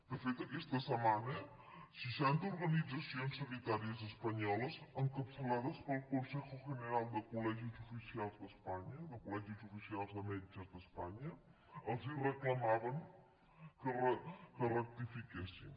de fet aquesta setmana seixanta organitzacions sanitàries espanyoles encapçalades pel consejo general de collegis oficials de metges d’espanya els reclamaven que rectifiquessin